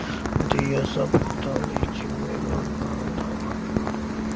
ਦੀ ਅਸਫਲਤਾ ਵਿੱਚ ਕਾਰਨ ਦਾ ਵਰਣਨ